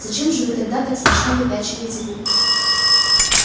зачем же вы тогда так смешно выпячиваете губки